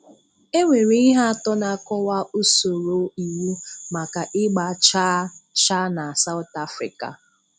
E nwere ihe atọ na-akọ̀wà usoro iwu maka ịgba chàà chà na South Africa: